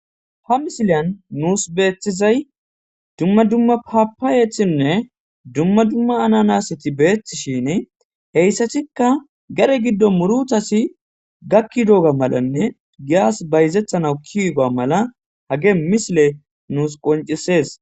Ha misiliyan nuusi beetizay dumma dumma paapayetinne dumma dumma ananaseti beettishin hessatikka gade gidon muurutati gakkidoga malanne giyas bayzetanaw kiyoga mala hage misiley nuusi qonccisees.